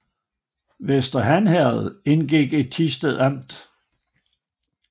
Vester Han Herred indgik i Thisted Amt